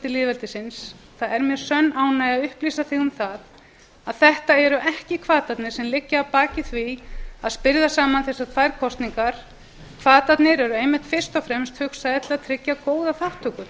lýðveldisins það er mér sönn ánægja að upplýsa þig um að þetta eru ekki hvatarnir sem liggja að baki því að spyrða saman þessar tvær kosningar hvatarnir eru einmitt fyrst og fremst hugsaðir til að tryggja góða þátttöku